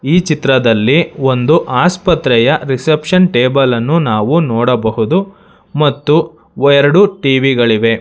ಈ ಚಿತ್ರದಲ್ಲಿ ಒಂದು ಆಸ್ಪತ್ರೆಯ ರಿಸೆಪ್ಶನ್ ಟೇಬಲ್ ಅನ್ನು ನಾವು ನೋಡಬಹುದು ಮತ್ತು ಎರಡು ಟಿ_ವಿ ಗಳಿವೆ.